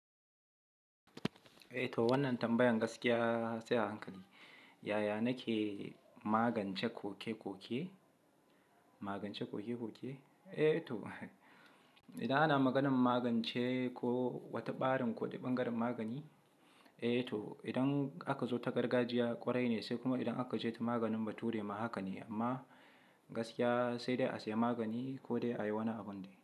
Eh to wannan tambayan gaskiya sai a hankali. Yaya nake magance koke-koke? Magance koke-koke? Eh to, idan ana maganan magance ko wata ɓarin ko bangarin magani, eh to idan aka zo ta gargajiya ƙwarai ne sai kuma idan aka je ta maganin bature ma haka ne. Amma gaskiya sai dai a siya magani ko dai a yi wani abun dai.